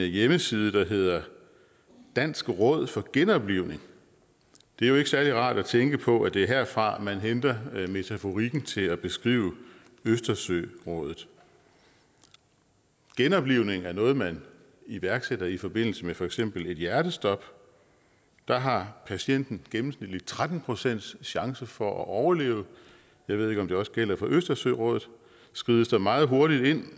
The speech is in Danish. hjemmeside der hedder dansk råd for genoplivning det er jo ikke særlig rart at tænke på at det er herfra man henter metaforikken til at beskrive østersørådet genoplivning er noget man iværksætter i forbindelse med for eksempel et hjertestop der har patienten gennemsnitligt tretten procent chance for at overleve jeg ved ikke om det også gælder for østersørådet skrides der meget hurtigt ind